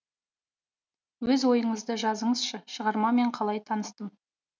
өз ойыңызды жазыңызшы шығармамен қалай таныстым